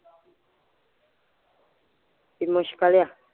B ਮੁਸ਼ਕਿਲ ਆ।